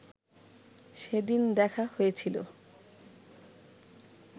সেদিন দেখা হয়েছিল